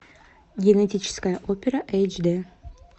генетическая опера эйч дэ